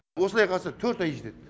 осылай қараса төрт ай жетеді